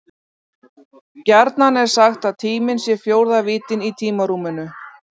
Gjarnan er sagt að tíminn sé fjórða víddin í tímarúminu.